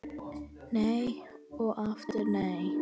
Nei og aftur nei